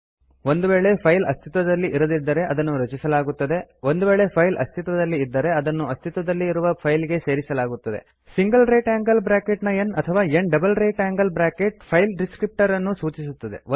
ಒಂದು ವೇಳೆ ಫೈಲ್ ಅಸ್ತಿತ್ವದಲ್ಲಿ ಇರದಿದ್ದರೆ ಅದನ್ನು ರಚಿಸಲಾಗುತ್ತದೆ ಒಂದು ವೇಳೆ ಫೈಲ್ ಅಸ್ತಿತ್ವದಲ್ಲಿ ಇದ್ದರೆ ಅದನ್ನು ಅಸ್ತಿತ್ವದಲ್ಲಿ ಇರುವ ಫೈಲ್ ಗೆ ಸೇರಿಸಲಾಗುತ್ತದೆ ಸಿಂಗಲ್ ರೈಟ್ ಆಂಗಲ್ ಬ್ರ್ಯಾಕೆಟ್ ನ n ಅಥವಾ n double right angle bracket file ಡಿಸ್ಕ್ರಿಪ್ಟರನ್ನು ಸೂಚಿಸುತ್ತದೆ